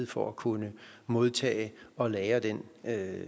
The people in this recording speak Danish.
for at kunne modtage og lagre den